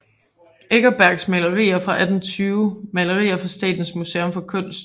Eckersberg Malerier fra 1820 Malerier fra Statens Museum for Kunst